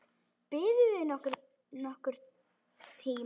Biðuð þið nokkurn tíma?